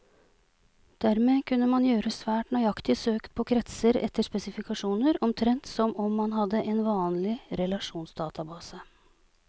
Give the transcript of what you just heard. Dermed kunne man gjøre svært nøyaktige søk på kretser etter spesifikasjoner, omtrent som om man hadde en vanlig relasjonsdatabase.